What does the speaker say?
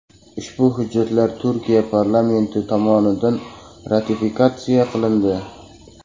Ushbu hujjatlar Turkiya parlamenti tomonidan ratifikatsiya qilindi .